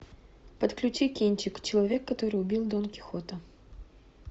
подключи кинчик человек который убил дон кихота